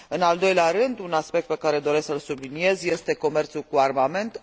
În al doilea rând, un aspect pe care doresc să îl subliniez este comerțul cu armament.